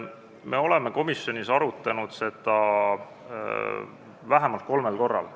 Me oleme komisjonis seda arutanud vähemalt kolmel korral.